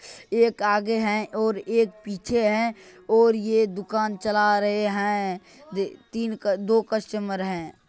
एक आगे हैं और एक पीछे हैं और ये दूकान चला रहे हैं दे-तीन का दो कस्टमर हैं ।